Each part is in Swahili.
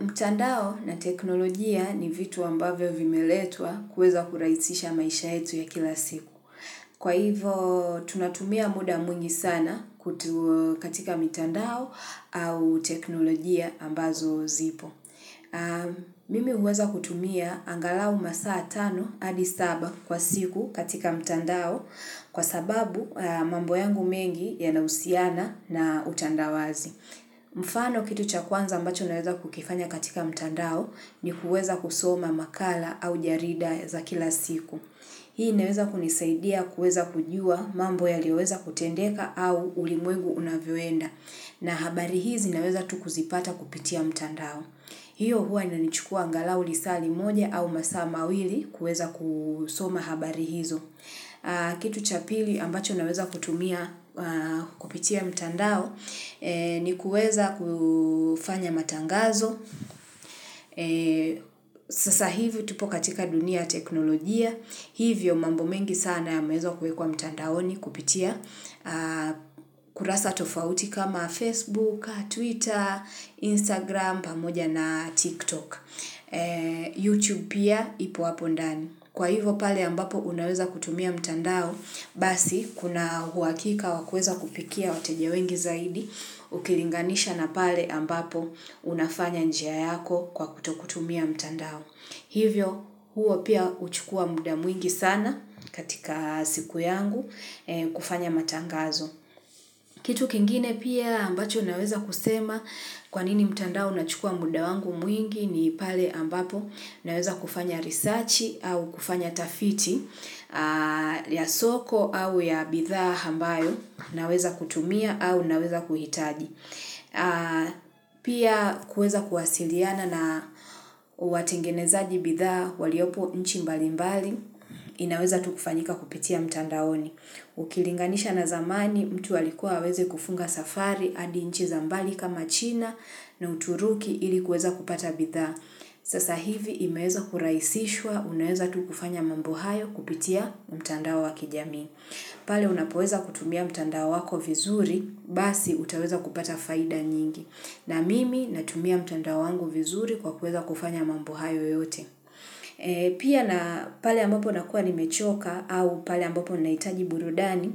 Mtandao na teknolojia ni vitu ambavyo vimeleetwa kweza kuraisisha maisha yetu ya kila siku. Kwa hivo tunatumia muda mwingi sana katika mtandao au teknolojia ambazo zipo. Mimi huweza kutumia angalau masaa tano adi saba kwa siku katika mtandao kwa sababu mambo yangu mengi yanahusiana na utandawazi. Mfano kitu chakuanza ambacho naweza kukifanya katika mtandao ni huweza kusoma makala au jarida za kila siku. Hii naweza kunisaidia kuweza kujua mambo ya liweza kutendeka au ulimwegu unavywenda na habari hizi naweza tukuzipata kupitia mtandao. Hiyo hua ina nichukua angalau lisali moja au masama wili kuweza kusoma habari hizo. Kitu cha pili ambacho naweza kutumia kupitia mtandao ni kuweza kufanya matangazo. Sasa hivyo tupo katika dunia teknolojia. Hivyo mambo mengi sana ya mezo kuekua mtandao ni kupitia. Kurasa tofauti kama Facebook, Twitter, Instagram, pamoja na TikTok. YouTube pia ipo wapondani. Kwa hivo pale ambapo unaweza kutumia mtandao basi kuna huakika wakueza kupikia wateje wengi zaidi ukilinganisha na pale ambapo unafanya njia yako kwa kutokutumia mtandao. Hivyo, huo pia uchukua muda mwingi sana katika siku yangu kufanya matangazo. Kitu kingine pia ambacho naweza kusema kwanini mtandao na chukua muda wangu mwingi ni pale ambapo naweza kufanya risachi au kufanya tafiti ya soko au ya bitha hambayo naweza kutumia au naweza kuhitaji. Pia kuweza kuwasiliana na watengeneza jibitha waliopo nchi mbali mbali inaweza tukufanyika kupitia mtandaoni. Ukilinganisha na zamani mtu walikuwa weze kufunga safari andi nchi zambali kama china na uturuki ilikuweza kupata bitha. Sasa hivi imaweza kuraisishwa unaweza tukufanya mambuhayo kupitia mtandao wakijami. Pali unapoweza kutumia mtanda wako vizuri, basi utaweza kupata faida nyingi. Na mimi natumia mtanda wangu vizuri kwa kuweza kufanya mambuhayo yote. Pia na pali ambapo nakuwa nimechoka au pali ambapo naitaji burudani,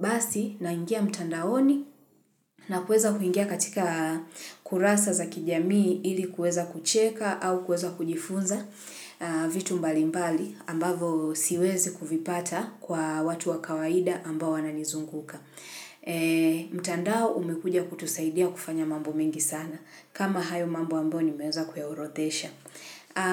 basi naingia mtandaoni na kuweza kuingia katika kurasa za kijamii ili kuweza kucheka au kuweza kujifunza vitu mbalimbali. Mbali ambavo siwezi kufipata kwa watu wa kawaida ambao ananizunguka. Mtandao umekuja kutusaidia kufanya mambo mingi sana. Kama hayo mambo amboni umeweza kuyaurothesha.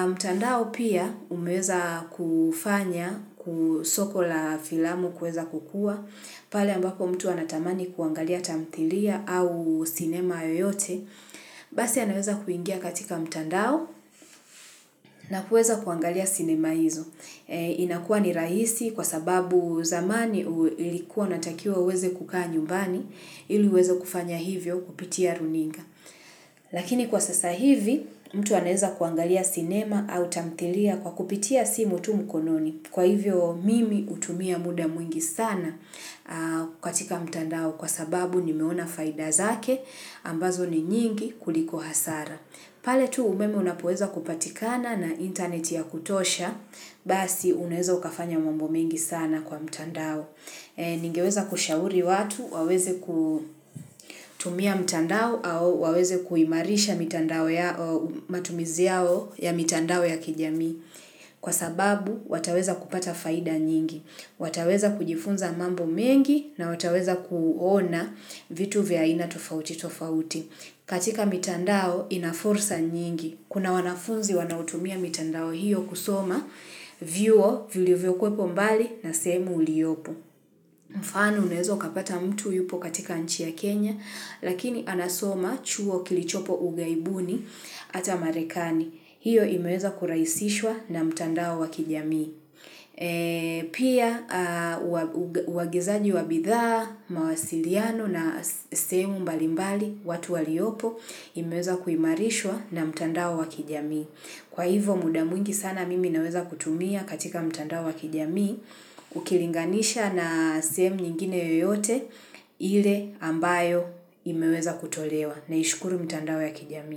Mtandao pia umeweza kufanya kusoko la filamu kweza kukua. Pali ambako mtu anatamani kuangalia tamtilia au sinema yoyote. Basi aneweza kuingia katika mtandao na kuweza kuangalia sinema hizo. Inakua ni rahisi kwa sababu zamani ilikuwa natakiwa uweze kukaa nyumbani ili uweze kufanya hivyo kupitia runinga. Lakini kwa sasa hivi mtu aneza kuangalia cinema au tamtilia kwa kupitia simu tu mkononi. Kwa hivyo mimi utumia muda mwingi sana kwa tika mtandao kwa sababu ni meona faidazake ambazo ni nyingi kuliko hasara. Pale tu umeme unapoweza kupatikana na interneti ya kutosha, basi uneweza ukafanya mambo mingi sana kwa mtandao. Ningeweza kushauri watu, waweze kutumia mtandao au waweze kuimarisha matumizi yao ya mtandao ya kijami. Kwa sababu wataweza kupata faida nyingi. Wataweza kujifunza mambo mingi na wataweza kuona vitu vyaina tufauti tufauti. Katika mitandao inaforsa nyingi. Kuna wanafunzi wanautumia mitandao hiyo kusoma, vio vio kwepo mbali na semu uliopo. Mfano unezo kapata mtu yupo katika nchi ya Kenya, lakini anasoma chuo kilichopo ugaibuni ata marekani. Hiyo imeweza kuraisishwa na mitandao wakijamii. Pia wagizaji wabithaa, mawasiliano na semu mbalimbali, watu waliopo imeweza kuimarishwa na mtandao wa kijami Kwa hivo mudamungi sana mimi naweza kutumia katika mtandao wa kijami Ukilinganisha na semu nyingine yoyote ile ambayo imeweza kutolewa na ishukuru mtandao wa kijami.